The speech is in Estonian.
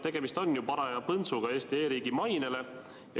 Tegemist on ju paraja põntsuga Eesti e-riigi mainele.